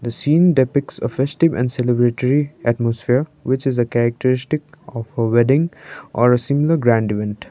the scene depicts a festive and celebratory atmosphere which is a characteristic of a wedding or a similar grand event.